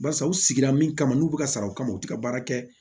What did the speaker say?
Barisa u sigira min kama n'u bɛ ka sara o kama u tɛ ka baara kɛ